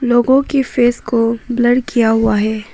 लोगों की फेस को ब्लर किया हुआ है।